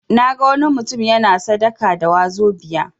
Naga wani mutum yana sadaka da 'wazobia'.